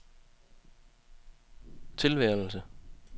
tilværelse